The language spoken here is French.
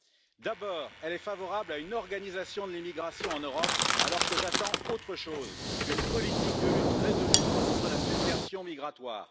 Tout d'abord, elle est favorable à une organisation de l'immigration en Europe alors que j'attends autre chose une politique de lutte résolue contre la submersion migratoire.